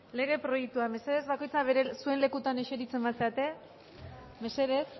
lege proiektua mesedez bakoitza zuen lekuetan esertzen bazarete mesedez